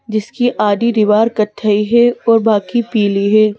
जिसकी आधी दीवार कथाई है और बाकी पीली है।